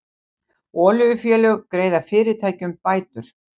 Olíufélög greiða fyrirtækjum bætur